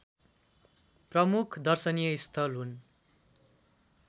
प्रमुख दर्शनीय स्थल हुन्